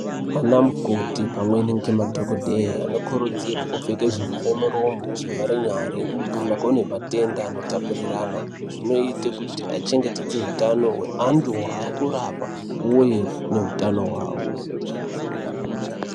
Ana mukoti pamwe nemadhokodheya anokurudzirwa kupfeke zvivhare miromo, zvivhare nyara, kana kune matenda anotapuriranwa zvinoite kuti achengetedze hutano hweantu ari kurapwa uye neutano hwavo.